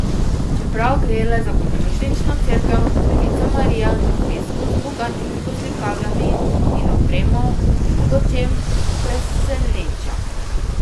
Čeprav gre le za podružnično cerkev, Devica Marija na Pesku z bogatimi poslikavami in opremo v mnogočem preseneča.